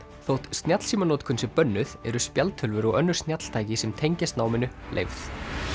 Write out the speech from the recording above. þótt snjallsímanotkun sé bönnuð eru spjaldtölvur og önnur snjalltæki sem tengjast náminu leyfð